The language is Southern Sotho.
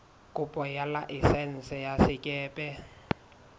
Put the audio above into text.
kopo ya laesense ya sekepe